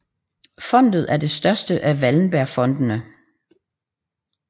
Fondet er det største af Wallenbergfondene